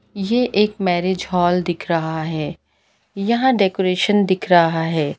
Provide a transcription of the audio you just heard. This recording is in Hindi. ये एक मैरिज हॉल दिख रहा है यहाँ डेकोरेशन दिख रहा है।